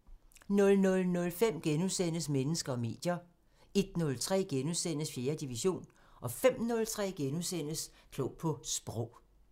00:05: Mennesker og medier * 01:03: 4. division * 05:03: Klog på Sprog *